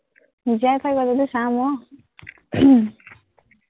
জীয়াই থাকো যদি চাম আহ